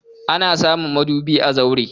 Ana samun madubi a zaure.